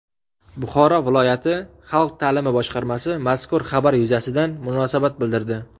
Buxoro viloyati xalq ta’limi boshqarmasi mazkur xabar yuzasidan munosabat bildirdi.